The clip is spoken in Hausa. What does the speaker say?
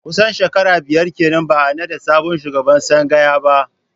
Kusan shekara biyar kenan ba a naɗa sabon shugaban tsangaya ba